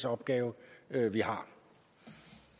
opgave vi